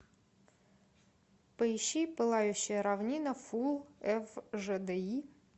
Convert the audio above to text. поищи пылающая равнина фулл эф жэ дэ и